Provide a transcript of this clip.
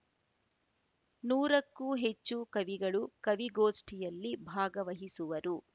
ನೂರಕ್ಕೂ ಹೆಚ್ಚು ಕವಿಗಳು ಕವಿಗೋಷ್ಠಿಯಲ್ಲಿ ಭಾಗವಹಿಸುವರು